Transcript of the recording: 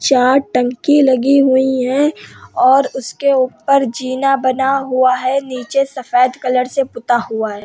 चार टंकी लगी हुई हैं और उसके ऊपर जीना बना हुआ है नीचे सफ़ेद कलर से पुता हुआ है।